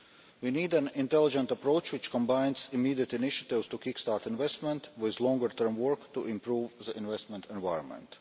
We need an intelligent approach which combines immediate initiatives to kick start investment with longer term work to improve the investment environment.